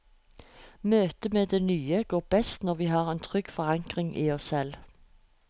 Møtet med det nye går best når vi har en trygg forankring i oss selv.